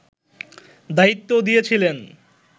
দায়িত্ব দিয়েছিলেন